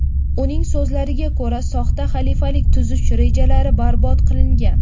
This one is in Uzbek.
Uning so‘zlariga ko‘ra, soxta xalifalik tuzish rejalari barbod qilingan.